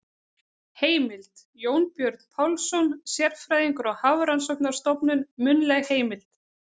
Heimild: Jónbjörn Pálsson, sérfræðingur á Hafrannsóknarstofnun- munnleg heimild.